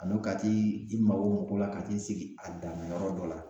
A n'o ka t'i i mabɔ mɔgw la ka t'i sigi a dama yɔrɔ dɔ la